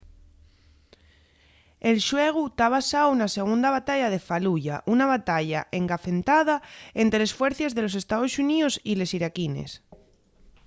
el xuegu ta basáu na segunda batalla de faluya una batalla engafentada ente les fuercies de los estaos xuníos y les iraquines